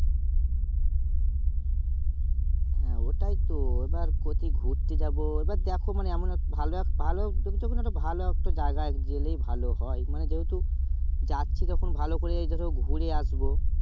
হ্যাঁ ওটাই তো এবার কচি ঘুরতে যাবো এবার দেখো এমন ভালো ভালো একটা জায়গায় গেলে ভালো হয় মানে যেহেতু যাচ্ছি যখন ভালো করে এই টাতে ঘুরে আসবো